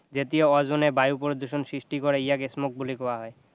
যেতিয়া অজনে বায়ু প্ৰদূষণ সৃষ্টি কৰে ইয়াকে smog বুলি কোৱা হয়